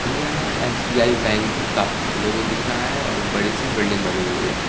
हमे यहाँ SBI. Bank का लोगो दिख रहा है और एक बड़ी सी बिल्डिंग बनी हुई है।